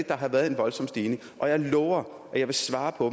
der har været en voldsom stigning og jeg lover at jeg vil svare på